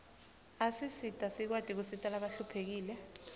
asisita sikwati kusita labahluphekile